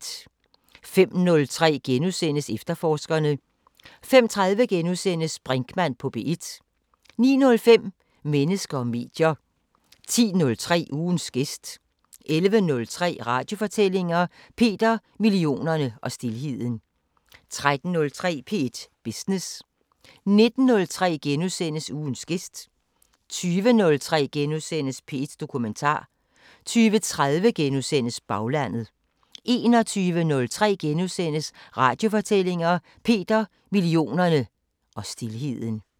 05:03: Efterforskerne * 05:30: Brinkmann på P1 * 09:05: Mennesker og medier 10:03: Ugens gæst 11:03: Radiofortællinger: Peter, millionerne og stilheden 13:03: P1 Business 19:03: Ugens gæst * 20:03: P1 Dokumentar * 20:30: Baglandet * 21:03: Radiofortællinger: Peter, millionerne og stilheden *